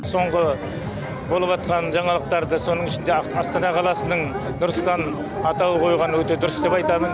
соңғы болыватқан жаңалықтарды соның ішінде астана қаласының нұр сұлтан атауы қойылғанын өте дұрыс деп айтамын